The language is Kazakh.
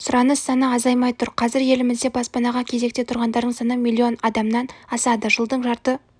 сұраныс саны азаймай тұр қазір елімізде баспанаға кезекте тұрғандардың саны миллион адамнан асады жылдың жарты